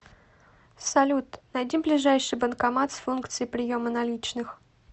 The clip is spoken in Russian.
салют найди ближайший банкомат с функцией приема наличных